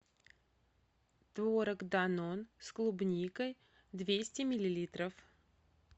творог данон с клубникой двести миллилитров